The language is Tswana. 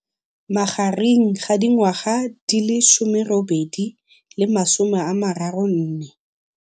magareng ga dingwaga di le 18 le 34.